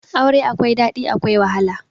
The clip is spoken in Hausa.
Aure akwai daɗi akwai wahala